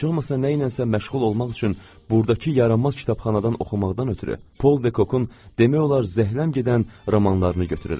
Heç olmasa nəyləsə məşğul olmaq üçün burdakı yaramaz kitabxanadan oxumaqdan ötrü Paul Dekokun demək olar zəhləm gedən romanlarını götürürəm.